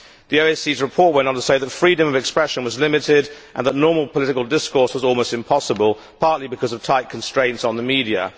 The OSCE's report went on to say that freedom of expression was limited and that normal political discourse was almost impossible, partly because of tight constraints on the media.